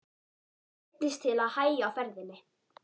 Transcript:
Neyddist til að hægja á ferðinni.